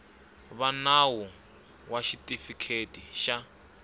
va nawu ya xitifiketi xa